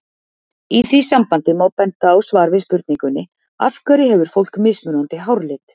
Í því sambandi má benda á svar við spurningunni Af hverju hefur fólk mismunandi háralit?